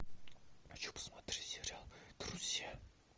хочу посмотреть сериал друзья